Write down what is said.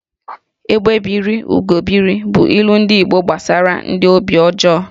"Egbé biri, Ugo biri" bụ ilu ndi Igbo gbasara ndị obi ọjọọ